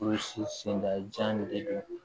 senda nin de don